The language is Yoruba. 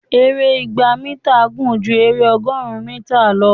èrè ìgbà mítà gún jù ere ọgọrùn mítà lọ